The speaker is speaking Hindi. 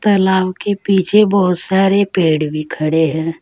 तलाव के पीछे बहोत सारे पेड़ भी खड़े हैं।